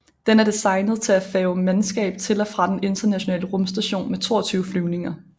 Den er designet til at færge mandskab til og fra den Internationale Rumstation med 22 flyvninger